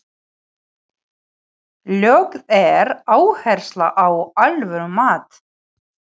Lögð er áhersla á alvöru mat.